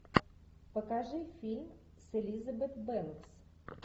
покажи фильм с элизабет бэнкс